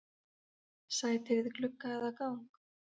Sæti við glugga eða gang?